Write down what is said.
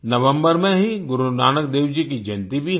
नवम्बर में ही गुरुनानक देव जी की जयंती भी है